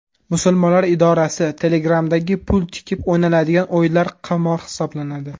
Musulmonlar idorasi: Telegram’dagi pul tikib o‘ynaladigan o‘yinlar qimor hisoblanadi.